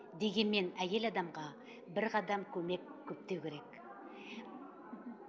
дегенмен әйел адамға бір қадам көмек көптеу керек